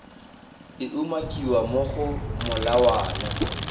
e umakiwang mo go molawana